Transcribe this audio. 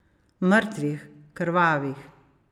Mrtvih, krvavih.